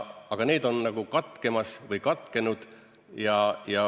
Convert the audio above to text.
Aga need koridorid on katkemas või katkenud.